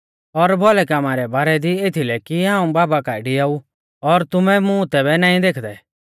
और भौलै कामा रै बारै दी रै बारै दी एथलै कि हाऊं बाबा काऐ डिआऊ और तुमै मुं तैबै नाईं देखदै